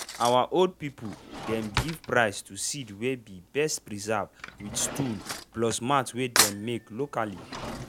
our old people dem give prize to seed wey be best preserved with stool plus mat wey dey make locally.